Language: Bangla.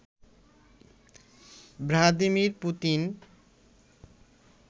Vladimir Putin